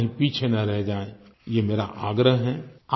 आप कहीं पीछे न रह जाएँ ये मेरा आग्रह है